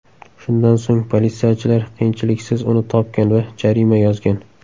Shundan so‘ng politsiyachilar qiyinchiliksiz uni topgan va jarima yozgan.